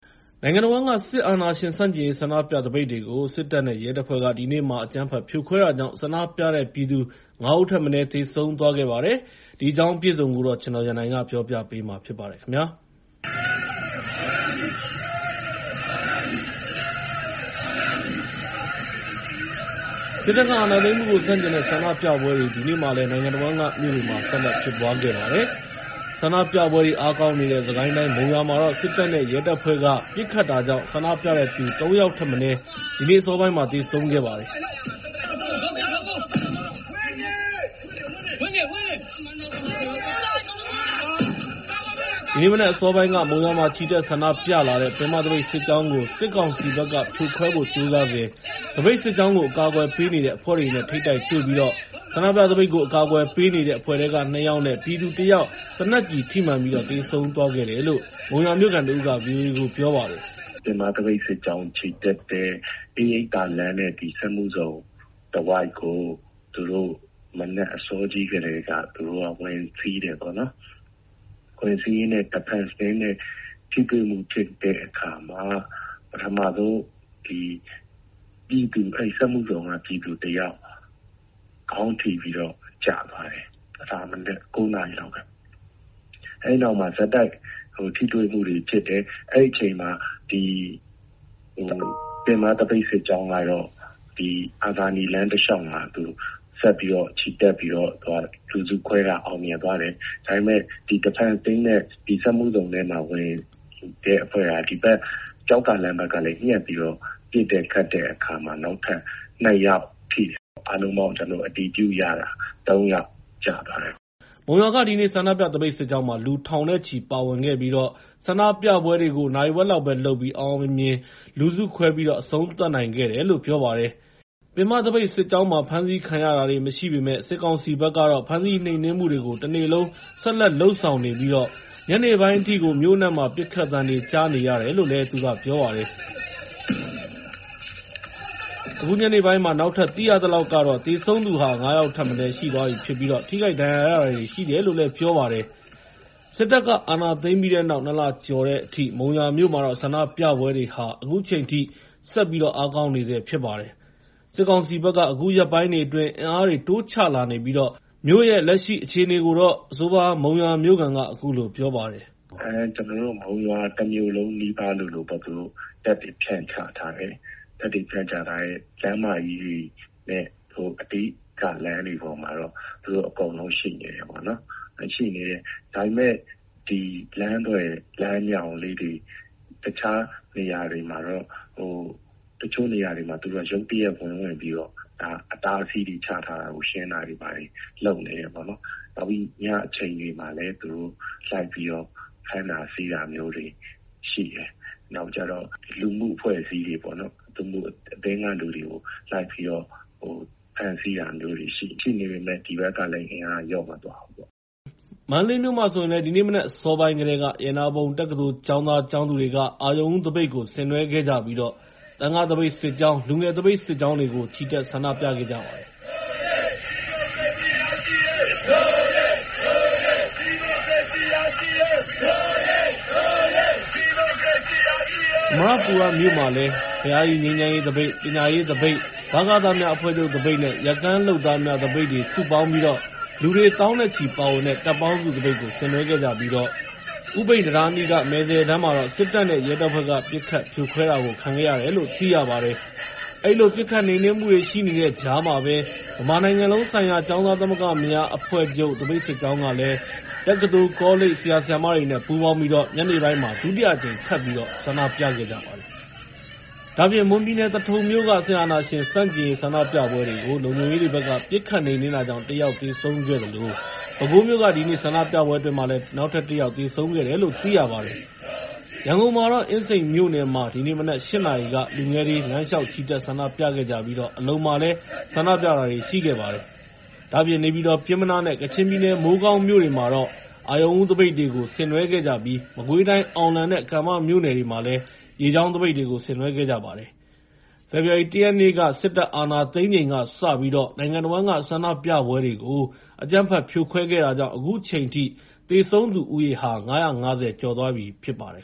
နိုင်ငံတဝန်းက စစ်အာဏာရှင်ဆန့်ကျင်ရေး ဆန္ဒပြသပိတ်တွေကို စစ်တပ်နဲ့ ရဲတပ်ဖွဲ့တွေက ဒီနေ့မှာ အကြမ်းဖက် ဖြိုခွဲခဲ့တာကြောင့် ဆန္ဒပြပြည်သူ ၅ ဦးထက်မနည်း သေဆုံးသွားခဲ့ပါတယ်။ ဒီအကြောင်းအပြည့်အစုံကို ကိုရန်နိုင်က ပြောပြသွားမှာဖြစ်ပါတယ်။ စစ်တပ်က အာဏာသိမ်းမှုကို ဆန့်ကျင်တဲ့ ဆန္ဒပြပွဲတွေ ဒီနေ့မှာလည်း နိုင်ငံတဝန်းက မြို့တွေမှာ ဆက်လက်ဖြစ်ပွားခဲ့ပါတယ်။ ဆန္ဒပြပွဲတွေ အားကောင်းနေတဲ့ စစ်ကိုင်းတိုင်း မုံရွာမြို့မှာတော့ စစ်တပ်နဲ့ ရဲတပ်ဖွဲ့တွေက ပစ်ခတ်တာကြောင့် ဆန္ဒပြတဲ့သူ ၃ ယောက်ထက်မနည်း သေဆုံးခဲ့ပါတယ်။ ဒီနေ့မနက်အစောပိုင်းကတော့ မုံရွာမှာ ချီတက်ဆန္ဒပြလာတဲ့ ပင်မသပိတ်စစ်ကြောင်းကို စစ်ကောင်စီဘက်က ဖြိုခွဲဖို့ကြိုးစားစဉ် သပိတ်စစ်ကြောင်းကို အကာအကွယ်ပေးနေတဲ့ အဖွဲ့တွေနဲ့ ထိပ်တိုက်တွေ့ပြီးတော့ ဆန္ဒပြသပိတ်ကို အကာအကွယ်ပေးနေတဲ့ အဖွဲ့ထဲက ၂ ယောက်နဲ့ ပြည်သူ ၁ ယောက် သေနတ်ကျည်ထိမှန်ပြီး သေဆုံးသွားခဲ့တယ်လို့ မုံရွာမြို့ခံတဦးက ဗွီအိုအေကို ပြောပါတယ်။ “ပင်မသပိတ်စစ်ကြောင်း ချီတက်တဲ့ အေးရိပ်သာလမ်းနဲ့ စက်မှုဇုန်တဝိုက်ကို မနက်အစောကြီးကတည်းက သူတို့က ဝင်စီးတယ်။ ဝင်စီးရင်းနဲ့ သပိတ်စစ်ကြောင်း ကာကွယ်ရေးအဖွဲ့ (Defense Team) နဲ့ ထိတွေ့မှုဖြစ်တဲ့အခါမှာ ပထမဆုံး စက်မှုဇုန်က ပြည်သူတယောက် ခေါင်းထိပြီးတော့ ကျသွားတယ်။ အဲဒါ မနက် ၉ နာရီလောက်က၊ အဲဒီနောက်မှာ ဆက်တိုက် ထိတွေ့မှုတွေဖြစ်တယ်။ အဲဒီအချိန်မှာ ပင်မသပိတ်စစ်ကြောင်းကတော့ အာဇာနည်လမ်းတလျှောက်မှာ ဆက်ပြီး ချီတက်ပြီးတော့ လူစုခွဲတာ အောင်မြင်သွားတယ်။ ဒါပေမယ့် Defense Team နဲ့ စက်မှုဇုန်ထဲမှာ ဝင်တဲ့အဖွဲ့က ဒီဘက် ကျောက္ကာလမ်းဘက်ကနေ ညှပ်ပြီးတော့ ပစ်ခတ်တဲ့အခါမှာ ၂ ယောက်ထိတယ်။ အားလုံးပေါင်း ကျနော်တို့ အတည်ပြုရတာ ၃ ယောက်ကျသွားတယ်။” မုံရွာက ဒီနေ့ ဆန္ဒပြသပိတ်စစ်ကြောင်းမှာ လူထောင်နဲ့ချီ ပါဝင်ခဲ့ကြပြီး ဆန္ဒပြပွဲတွေကိုတော့ နာရီဝက်လောက်ပဲလုပ်ပြီး အောင်အောင်မြင်မြင်နဲ့ လူစုခွဲပြီး အဆုံးသတ်နိုင်ခဲ့တယ်လို့ ပြောပါတယ်။ ပင်မသပိတ်စစ်ကြောင်းမှာ ဖမ်းဆီးခံရတာတွေ မရှိပေမယ့် စစ်ကောင်စီဘက်ကတော့ ဖမ်းဆီးနှိမ်နင်းမှုတွေကို တနေ့လုံး ဆက်လက်လုပ်ဆောင်နေပြီး ညနေပိုင်းအထိကို မြို့အနှံ့မှာ ပစ်ခတ်သံတွေ ကြားနေရတယ်လို့လည်း ပြောပါတယ်။ အခုညနေပိုင်းမှာ နောက်ထပ် သိရသလောက်တော့ သေဆုံးသူဟာ ၅ ယောက်ထက်မနည်း ရှိနေပြီး ထိခိုက်ဒဏ်ရာရတာတွေလည်း ရှိတယ်လို့ ပြောပါတယ်။ စစ်တပ်က အာဏာသိမ်းပြီးတဲ့နောက် ၂ လကျော်လာတဲ့အထိ မုံရွာမြို့မှာတော့ ဆန္ဒပြပွဲတွေဟာ အခုချိန်ထိ ဆက်လက်အားကောင်းနေဆဲ ဖြစ်ပါတယ်။ စစ်ကောင်စီဘက်ကလည်း အခုရက်ပိုင်းတွေအတွင်း အင်အားတွေ တိုးချလာနေပြီး မြို့ရဲ့ လက်ရှိအခြေအနေကိုတော့ အဆိုပါ မုံရွာမြို့ခံက အခုလိုပြောပါတယ်။ “ကျနော်တို့ မုံရွာတမြို့လုံးနီးပါးလိုလိုမှာ သူတို့တပ်တွေ ဖြန့်ချထားတယ်။ လမ်းမကြီးတွေနဲ့ အဓိကလမ်းတွေပေါ်မှာတော့ သူတို့ အကုန်လုံးရှိနေတယ်။ ဒါပေမယ့် လမ်းသွယ်၊ လမ်းမြှောင်လေးတွေ၊ တခြားနေရာတွေမှာတော့ သူတို့က ရုတ်တရက် ဝင်ပြီးတော့ အတားအဆီးတွေ ချထားတာတွေကို ရှင်းတာတွေ လုပ်နေတယ်။ နောက်ပြီး ညအချိန်တွေမှာလည်း သူတို့ ဖမ်းတာဆီးတာမျိုးတွေ ရှိတယ်။ နောက်ပြီးတော့ လူမှုအဖွဲ့အစည်းတွေ လူမှုအသင်းက လူတွေကို လိုက်ပြီးတော့ ဖမ်းဆီးတာတွေရှိတယ်။ အဲဒီလိုရှိနေပေမယ့် ဒီဘက်ကလည်း အင်အားက လျော့မသွားဘူး။” မန္တလေးမြို့မှာဆိုရင်လည်း ဒီနေ့မနက် အစောပိုင်းကတည်းက ရတနာပုံတက္ကသိုလ်ကျောင်းသား၊ ကျောင်းသူတွေက အရုဏ်ဦးသပိတ်ကို ဆင်နွဲှခဲ့ကြပြီး သံဃာ့သမဂ္ဂသပိတ်စစ်ကြောင်း၊ လူငယ်သပိတ်စစ်ကြောင်းတွေကလည်း ချီတက် ဆန္ဒပြခဲ့ကြပါတယ်။ အမရပူရမြို့က ဘုရားကြီး ငြိမ်းချမ်းရေးသပိတ်၊ ပညာရေးမိသားစုသပိတ်၊ ဗကသများအဖွဲ့ချုပ်သပိတ်နဲ့ ရက်ကန်းလုပ်သားများသပိတ်တွေ စုပေါင်းပြီး လူတွေ သောင်းနဲ့ချီပါဝင်တဲ့ တပ်ပေါင်းစုသပိတ်ကို ဆင်နွဲှခဲ့ကြပြီး ဦးပိန်တံတားအနီးက မယ်ဇယ်တန်းမှာ စစ်တပ်နဲ့ ရဲတပ်ဖွဲ့ ပစ်ခတ်ဖြိုခွဲခဲ့တယ်လို့ သိရပါတယ်။ အဲဒီလို ပစ်ခတ်နှိမ်နင်းမှုတွေ ရှိနေတဲ့ကြားမှာပဲ ဗမာနိုင်ငံလုံးဆိုင်ရာ ကျောင်းသားသမဂ္ဂများ အဖွဲ့ချုပ် သပိတ်စစ်ကြောင်းဟာ တက္ကသိုလ် ကောလိပ် ဆရာ ဆရာမတွေနဲ့ ပူးပေါင်းပြီးတော့ ညနေပိုင်းမှာလည်း ဒုတိယအကြိမ် ထပ်ပြီး ဆန္ဒပြခဲ့ကြပါတယ်။ ဒါ့အပြင် မွန်ပြည်နယ် သထုံမြို့က စစ်အာဏာရှင်ဆန့်ကျင်ရေး ဆန္ဒပြပွဲကို လုံခြုံရေးတွေဘက်က ပစ်ခတ်နှိမ်နင်းတာကြောင့် ၁ ယောက် သေဆုံးခဲ့သလို ပဲခူးမြို့က ဒီနေ့ဆန္ဒပြပွဲအတွင်း ၁ ယောက်သေဆုံးခဲ့တယ်လို့ သိရပါတယ်။ ရန်ကုန်မှာတော့ အင်းစိန်မြို့နယ်မှာ ဒီနေ့မနက် ၈ နာရီက လူငယ်တွေ လမ်းလျှောက်ချီတက် ဆန္ဒပြခဲ့ကြသလို အလုံမြို့နယ်မှာလည်း ဆန္ဒပြတာတွေ ရှိခဲ့ပါတယ်။ ဒါ့အပြင် နေပြည်တော် ပျဉ်းမနားနဲ့ ကချင်ပြည်နယ် မိုးကောင်းမြို့တွေမှာလည်း အရုဏ်ဦးသပိတ်တွေကို ဆင်နွဲှခဲ့ကြသလို မကွေးတိုင်း အောင်လံနဲ့ ကံမမြို့နယ်တွေမှာလည်း ရေကြောင်းသပိတ်တွေကို ဆင်နွှဲခဲ့ကြပါတယ်။ ဖေဖော်ဝါရီ ၁ ရက်နေ့ စစ်တပ်က အာဏာသိမ်းပြီးချိန်ကစပြီး နိုင်ငံတဝန်းက ဆန္ဒပြပွဲတွေကို အကြမ်းဖက် ဖြိုခွဲခဲ့တာကြောင့် အခုချိန်ထိ သေဆုံးသူဦးရေဟာ ၅၅၀ ကျော် ရှိသွားပြီဖြစ်ပါတယ်